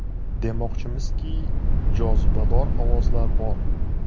Demoqchimizki, jozibador ovozlar bor.